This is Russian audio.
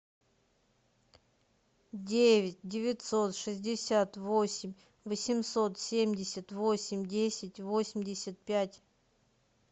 девять девятьсот шестьдесят восемь восемьсот семьдесят восемь десять восемьдесят пять